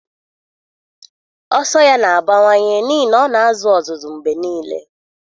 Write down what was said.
Ọsọ ya na-abawanye n'ihi na ọ na-azụ ọzụzụ mgbe niile